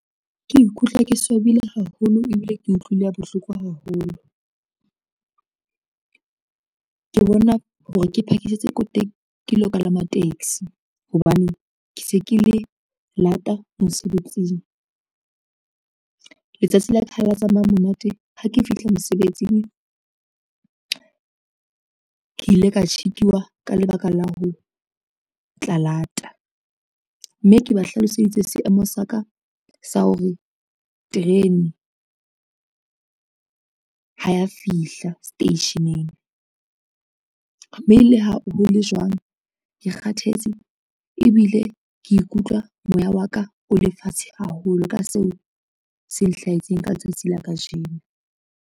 Ke ikutlwa ke swabile haholo ebile ke utlwile bohloko haholo, ke bona hore ke phakisetse ko teng ke lo kalama taxi hobane, ke se ke le lata mosebetsing. Letsatsi la ka ha le tsamaya monate ha ke fihla mosebetsing, ke ile ka tjhekiwa ka lebaka la ho tla lata, mme ke ba hlaloseditse seemo sa ka sa hore terene ha ya fihla seteisheneng, mme le ha hole jwang ke kgathetse ebile ke ikutlwa moya wa ka o le fatshe haholo ka seo se nhlahetseng ka letsatsi la kajeno.